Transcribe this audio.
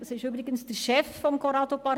Er ist übrigens der Chef von Corrado Pardini;